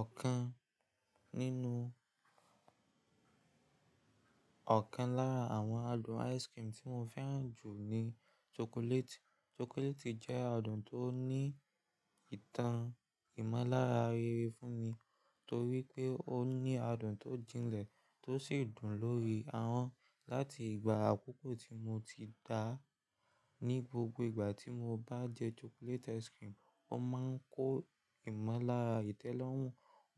Ọ̀kan nínú-- ọ̀kan lára àwọn adùn ice cream tí mo fẹ́ràn jù ni chocolate. Chocolate jẹ́ adùn tó ní ìtàn ìmọ́lára rere fún mi torí pé ó ní adùn tó jinlẹ̀ tó sì dùn lórí ahọ́n. Láti ìgbà àkókò tí mo ti dà á, ní gbogbo ìgbà tí mo bá jẹ chocolate ice cream, ó máa ń kó ìmọ́lára ìtẹ́lọ́rùn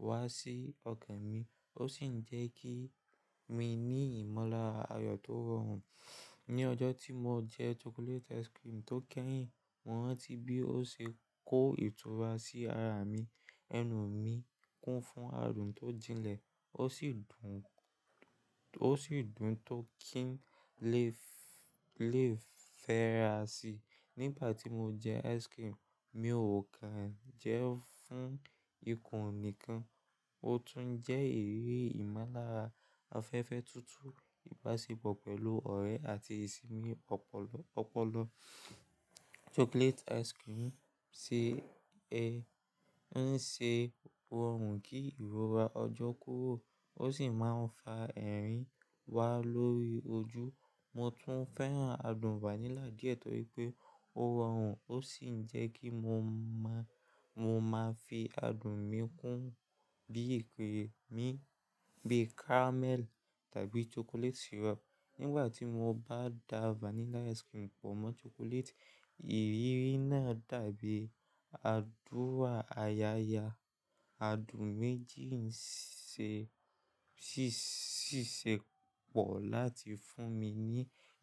wá sí ọkàn mi, ó sì ń jẹ́ kí mi ní ìmọ́lára ayọ̀ tó rọrùn. Ni ọjọ́ tí mo jẹ chocolate ice cream tó kẹ́yìn, mo rántí bí ó ṣe kó ìtura sí ara mi. Ẹnu mi kún fún adùn tó jinlẹ̀, ó sì dùn, ó sì dùn tó kí n lè, lè fẹ́ra sí. Nígbà tí mo jẹ ice cream, mi ò kàn jẹ́ ẹ́ fún ikùn nìkan, ó tún jẹ́ eré ìmọ́lára. Afẹ́fẹ́ tutu, ìbáṣepọ̀ pẹ̀lú ọ̀rẹ́ àti ìsinmi ọpọlọpọ̀. Chocolate ice cream ṣe, ẹ, ń ṣe rọrùn kí ìrora ọjọ́ kyró, ó sì máa ń fa ẹ̀rín wá lórí ojú. Mo tún fẹ́ràn adùn vanilla díẹ̀ torí pé ó rọrùn, ó sì ń jẹ́ kí mo mọ́, mo máa fi adùn mi kún bí i pé mi, bí i caramel tàbí chocolate syrup. Nígbà tí mo bá da vanilla ice cream pọ̀ mọ́ chocolate, ìrírí náà dàbí àdúrà ayaya. Adùn méjì ń ṣe, ṣíṣe pọ̀ láti fún mi ní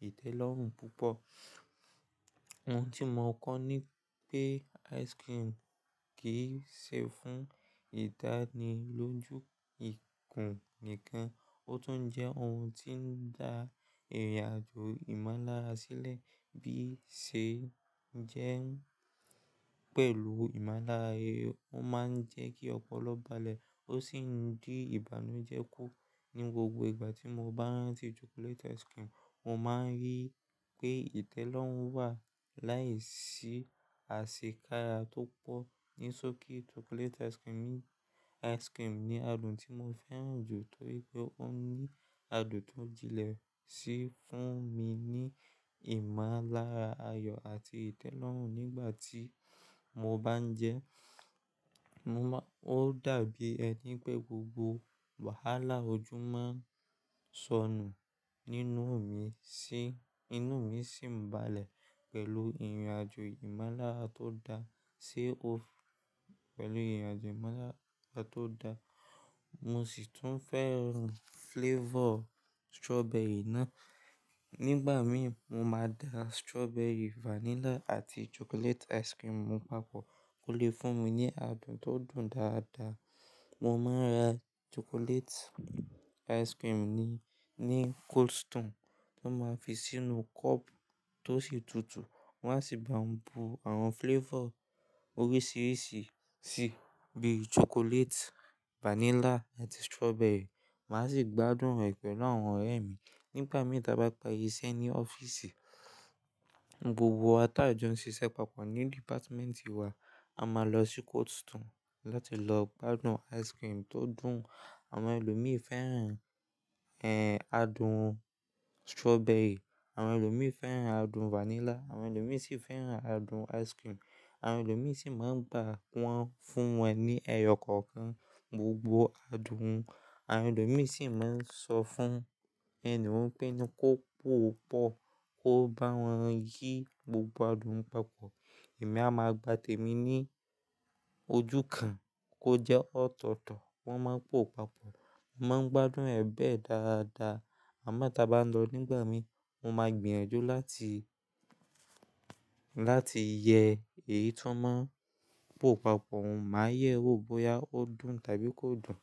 ìtẹ́lọ́rùn púpọ̀. Ohun tí mo mọ̀ kó ni pé ice cream kì í ṣe fún ìdánilójú ikùn nìkan, ó tún jẹ́ ohun tí ń da ìrìnàjò ìmọ́lára sílẹ̀ bí i ṣe jẹ́ ń pẹ̀lú ìmọ́lára, ó máa ń jẹ́ kí ọpọlọ balẹ̀, ó sì ń dí ìbànújẹ́ kù. Ní gbogbo ìgbà tí mo bá ń rántí chocolate ice cream, mo máa ń rí pé ìtẹ́lọ́rùn wà láìsí àsekará tó pọ̀. Ní sókí, chocolate ice cream ni adùn tí mo fẹ́ràn jù torí pé ó ní adùn tó jinlẹ̀ sì fún mi ní ìmọ́lára ayọ̀ àti ìtẹ́lọ́rùn nígbà tí mo bá ń jẹ ẹ́. Mo má-- ó dàbí ẹni pé gbogbo wàhálà ojú máa ń sọnù nínú mi sí, inú mi sì ń balẹ̀ pẹ̀lú ìrìnàjò ìmọ́lára tó da sí o f-- pẹ̀lú ìrìnàjò ìmọ́lára tó da. Mo sì tún fẹ́ràn flavor strawberry náà. Nígbà mi mo máa da strawberry, vanilla àti chocolate ice cream papọ̀, ó lè fún mi ní adùn tó dùn dáadáa. Mo máa ń ra chocolate ice cream ní, ní Cold Stone. Wọ́n máa fi sínú cup tó sì tutù, wọ́n á sì ba ń bu àwọn flavor oríṣiríṣi sí i bíi chocolate, vanilla àti strawberry. Màá sì gbádùn rẹ̀ pẹ̀lú àwọn ọ̀rẹ́ mi. Nígbà mii ta bá pari iṣẹ́ ní ọ́fíìsì, gbogbo wa ta jọ ń ṣiṣẹ́ papọ̀ ní department wa, a máa lọ sí Cold Stone láti lọ gbádùn ice cream tó dùn. Àwọn ẹlòmíràn fẹ́ràn, ẹ, adùn strawberry, àwọn ẹlòmíràn fẹ́ràn adùn vanilla, àwọn ẹlòmíràn sì fẹ́ràn adùn ice cream. Àwọn ẹlòmíràn sì máa ń gbá wọ́n fún wọn ní ẹyọ kọ̀ọ̀kan gbogbo adùn. Àwọn ẹlòmíràn sì máa ń sọ fún ẹni mọ̀ pé ni kó pò pọ̀, kó bá wọn yí gbogbo adùn papọ̀. Èmi a máa gbà témi ní ojú kan kó jẹ́ ọ̀tọ̀ọ̀tọ̀. Wọ́n máa ń pò papọ̀, mo máa ń gbádùn rẹ̀ bẹ́ẹ̀ dáadáa. Àmọ́ tí a bá ń lọ nígbà mi, mo máa gbìyànjú láti, láti yẹ èyí tí wọ́n máa ń pò papọ̀, mo máa yẹ ó bóyá ó dùn tàbí kò dùn.